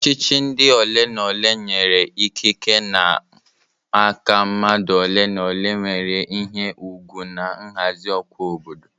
Ọchịchị ndi ole na ole nyere ikike n'aka mmadụ ole na ole nwere ihe ùgwù na nhazi ọkwa obodo.